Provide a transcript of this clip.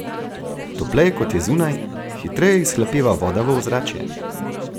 Topleje kot je zunaj, hitreje izhlapeva voda v ozračje.